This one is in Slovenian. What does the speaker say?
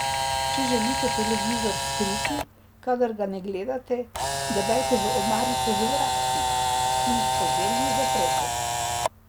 Če želite televizor skriti, kadar ga ne gledate, ga dajte v omarico z vratci, ki jih po želji zaprete.